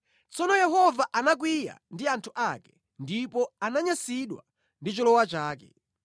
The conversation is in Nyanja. Tsono Yehova anakwiya ndi anthu ake ndipo ananyansidwa ndi cholowa chake.